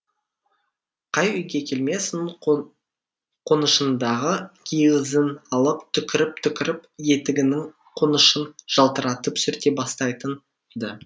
қай үйге келмесін қонышындағы киізін алып түкіріп түкіріп етігінің қонышын жалтыратып сүрте бастайтын ды